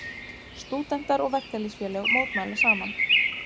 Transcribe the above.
Stúdentar og verkalýðsfélög mótmæla saman